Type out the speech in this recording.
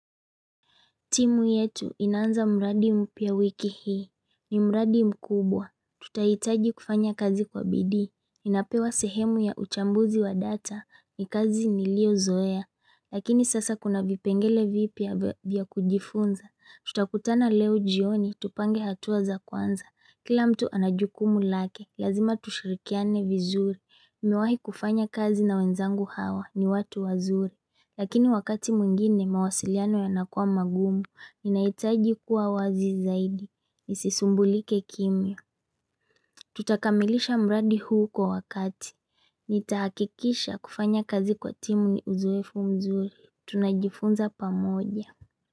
Timu yetu inaanza mradi mpya wiki hii ni mradi mkubwa Tutahitaji kufanya kazi kwa bidii ninapewa sehemu ya uchambuzi wa data ni kazi ni lio zoe Lakini sasa kuna vipengele vipya vya kujifunza Tutakutana leo jioni tupange hatua za kwanza Kila mtu anajukumu lake Lazima tushirikiane vizuri niMewahi kufanya kazi na wenzangu hawa ni watu wazuri Lakini wakati mwingine mawasiliano ya nakuwa magumu Ninaitaji kuwa wazi zaidi. Isisumbulike kimya. Tutakamilisha mradi huu kwa wakati. Nitahakikisha kufanya kazi kwa timu ni uzoefu mzuri. Tunajifunza pamoja.